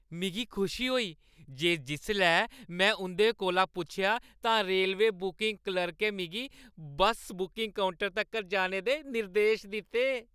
मिगी खुशी होई जे जिसलै में उंʼदे कोला पुच्छेआ तां रेलवे बुकिंग क्लर्कें मिगी बस्स बुकिंग काउंटर तक्कर जाने दे निर्देश दित्ते।